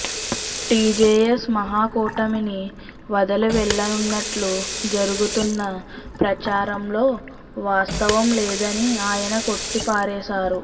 TJS మహా కూటమిని వదిలి వెళ్ళనున్నట్లు జరుగుతున్న ప్రచారంలో వాస్తవం లేదని ఆయన కొట్టిపారేశారు